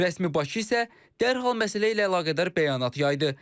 Rəsmi Bakı isə dərhal məsələ ilə əlaqədar bəyanat yaydı.